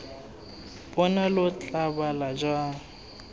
bona lo tla bala jang